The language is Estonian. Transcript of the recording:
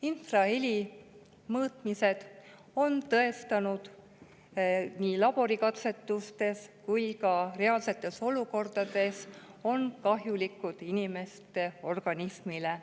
Infraheli mõõtmised on tõestanud – nii laborikatsetuste käigus kui ka reaalsetes olukordades –, et see on kahjulik inimeste organismile.